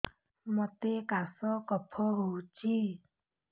ମୋତେ କାଶ କଫ ହଉଚି